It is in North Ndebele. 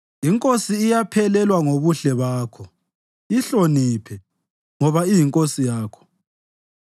Inkosi iyaphelelwa ngobuhle bakho; yihloniphe, ngoba iyinkosi yakho.